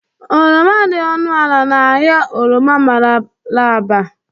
Oroma dị ọnụ ala na ahịa oroma Mararaba